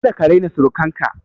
Kada ka raina surukan ka!